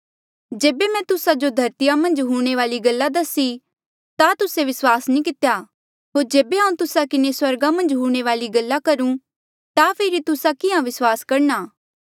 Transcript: जेबे मैं तुस्सा जो धरतीया मन्झ हूंणे वाली गल्ला दसी ता तुस्से विस्वास नी कितेया होर जेबे हांऊँ तुस्सा किन्हें स्वर्गा मन्झ हूंणे री गल्ला करूं ता फेरी तुस्सा किहाँ विस्वास करणा